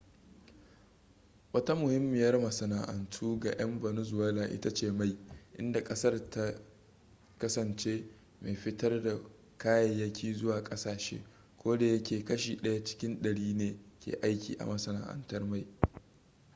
wata muhimmiyar masana'antu ga 'yan venezuela ita ce mai inda ƙasar ta kasance mai fitar da kayayyaki zuwa ƙasashe kodayake kashi ɗaya cikin ɗari ne ke aiki a masana'antar mai